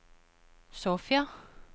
Sofia